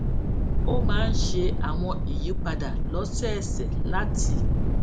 ó máa ń ṣe àwọn ìyípadà lósòòsè láti